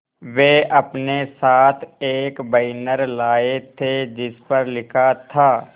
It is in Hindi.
वे अपने साथ एक बैनर लाए थे जिस पर लिखा था